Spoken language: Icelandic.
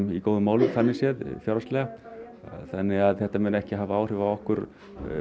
í góðum málum þannig séð fjárhagslega þannig að þetta muni ekki hafa áhrif á okkur